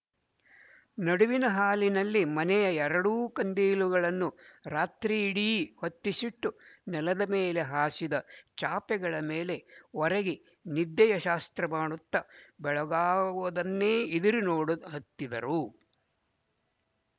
ನಡುವಿನ ಹಾಲಿನಲ್ಲಿ ಮನೆಯಲ್ಲಿಯ ಎರಡೂ ಕಂದೀಲುಗಳನ್ನು ರಾತ್ರಿಯಿಡೀ ಹೊತ್ತಿಸಿಟ್ಟು ನೆಲದಮೇಲೆ ಹಾಸಿದ ಚಾಪೆಗಳ ಮೇಲೆ ಒರಗಿ ನಿದ್ದೆಯ ಶಾಸ್ತ್ರಮಾಡುತ್ತ ಬೆಳಗಾಗುವುದನ್ನೇ ಇದಿರು ನೋಡಹತ್ತಿದರು